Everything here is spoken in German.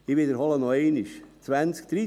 Ich wiederhole noch einmal: